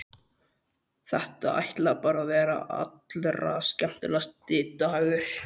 Þetta ætlaði bara að verða allra skemmtilegasti dagur.